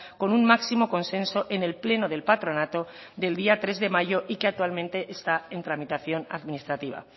con un máximo consenso en el pleno del patronato del día tres de mayo y que actualmente está en tramitación administrativa